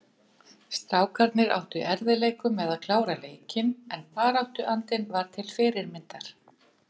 Strákarnir áttu í erfiðleikum með að klára leikinn en baráttuandinn var til fyrirmyndar.